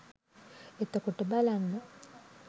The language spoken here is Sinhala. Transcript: එතකොට බලන්න